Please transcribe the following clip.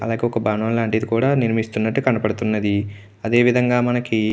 అలాగే ఒక భవనం లాంటిది కూడా నిర్మిస్తున్నట్టు కనబడుతున్నది. అదే విధంగా మనకు --